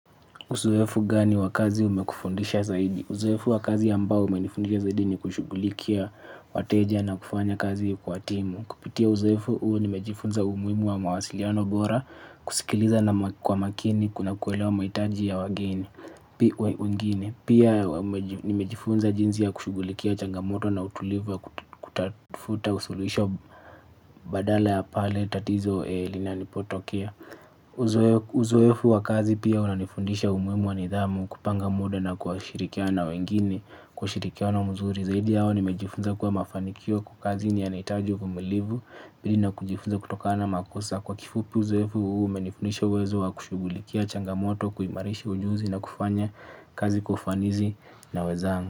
Uzoefu gani wa kazi umekufundisha zaidi? Uzoefu wa kazi ambao umenifundisha zaidi ni kushughulikia wateja na kufanya kazi kwa timu. Kupitia uzoefu huu nimejifunza umuhimu wa mawasiliano bora, kusikiliza na kwa makini, kuna kuelewa mahitaji ya wageni, wengine. Pia nimejifunza jinsi ya kushughulikia changamoto na utulivu ya kutafuta suluhisho badala ya pale tatizo linapotokea. Uzoefu wa kazi pia unanifundisha umuhimu wa nidhamu kupanga muda na kushirikiana na wengine kwa ushirikiano mzuri. Zaidi yao nimejifunza kuwa mafanikio kwa kazi ni yanahitaji uvumilivu pili na kujifunza kutokana na makosa. Kwa kifupu uzoefu huu umenifundisha uwezo wa kushughulikia changamoto kuimarishi ujuzi na kufanya kazi kwa ufanisi na wezangu.